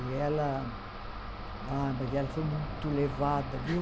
E ela Ah, mas ela foi muito levada, viu?